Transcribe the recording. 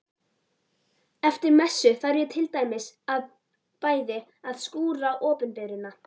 Eftir messu þarf ég til dæmis bæði að skúra opinberunar